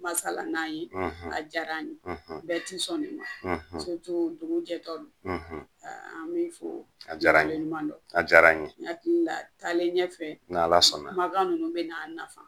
Masala n'an ye a diyar'an ye. bɛɛ ti sɔn nin ma dugu jɛtɔ don. an b'i fo, a diyara n ye k'i waleɲumandɔn. A diyara n ye. N hakili la taalen ɲɛfɛ, n'Ala sɔnn'a, kumakan ninnu bɛn'an nafa.